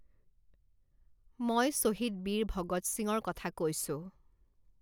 মই শ্বহীদ বীৰ ভগৎ সিঙৰ কথা কৈছো।